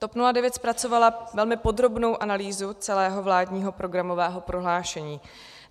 TOP 09 zpracovala velmi podrobnou analýzu celého vládního programového prohlášení.